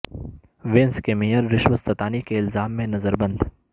Venice کے میئررشوت ستانی کے الزام میں نظر بند